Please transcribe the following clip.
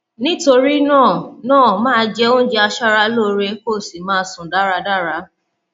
nítorí náà náà máa jẹ oúnjẹ aṣaralóore kó o sì máa sùn dáradára